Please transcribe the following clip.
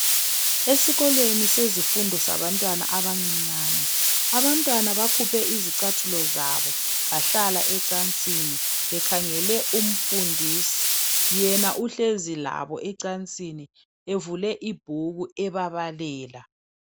Esikolweni sezifundo sabantwana abancinyane, abantwana bakhuphe izicathulo zabo bahlala ekilasini bekhangele umfundisi yena uhlezi labo ecansini evule ibhuku ebabalela.